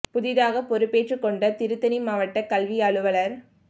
புதிதாக பொறுப்பேற்றுக் கொண்ட திருத்தணி மாவட்டக் கல்வி அலுவலா் க